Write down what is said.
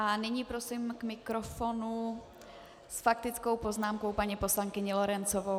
A nyní prosím k mikrofonu s faktickou poznámkou paní poslankyni Lorencovou.